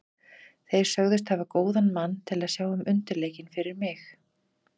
Þeir sögðust hafa góðan mann til að sjá um undirleikinn fyrir mig.